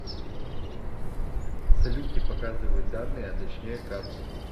салют не показывает данные а точнее карту